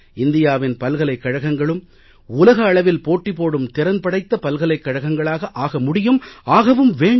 இந்தியாவின் பல்கலைக் கழகங்களும் உலக அளவில் போட்டி போடும் திறன் படைத்த பல்கலைக் கழகங்களாக ஆக முடியும் ஆகவும் வேண்டும்